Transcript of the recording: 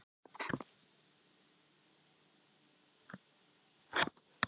Samningar tókust á milli aðila fyrir þann tíma og því kom ekki til kasta gerðardóms.